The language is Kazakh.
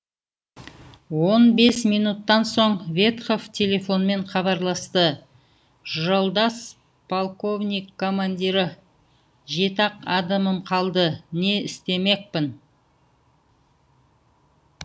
он бес минуттан соң ветхов телефонмен хабарласты жолдас полковник командирі жеті ақ адамым қалды не істемекпін